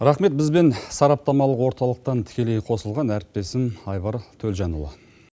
рахмет бізбен сараптамалық орталықтан тікелей қосылған әріптесім айбар төлжанұлы